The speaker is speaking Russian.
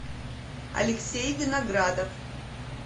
алексей виноградов